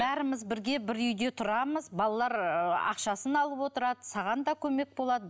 бәріміз бірге бір үйде тұрамыз балалар ы ақшасын алып отырады саған да көмек болады